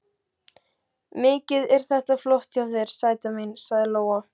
Mikið er þetta flott hjá þér, sæta mín, sagði Lóa.